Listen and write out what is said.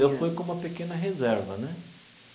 Eu fui com uma pequena reserva, né?